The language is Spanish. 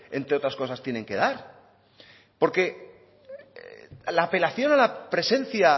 entre otras cosas tienen que dar porque la apelación a la presencia